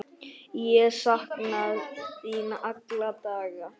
Ég sakna þín alla daga.